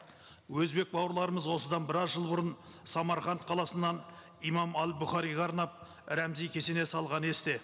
өзбек бауырларымыз осыдан біраз жыл бұрын самарқанд қаласынан имам әл бұхариға арнап рәмізи кесене салғаны есте